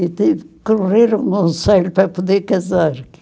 E tive que um conselho para poder casar.